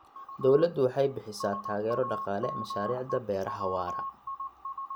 Dawladdu waxay bixisaa taageero dhaqaale mashaariicda beeraha waara.